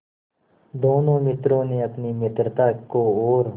दोनों मित्रों ने अपनी मित्रता को और